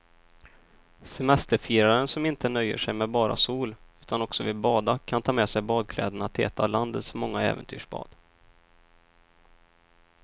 Semesterfiraren som inte nöjer sig med bara sol utan också vill bada kan ta med sig badkläderna till ett av landets många äventyrsbad.